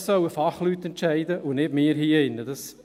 Das sollen Fachleute entscheiden, und nicht wir hier im Rat.